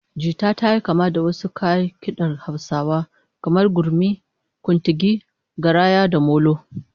Jita tayi kama da wasu kayan kidar Hausawa kamar gurmi, kuntigi, garaya, da molo